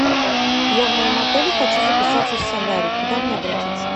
я в моем отеле хочу записаться в солярий куда мне обратиться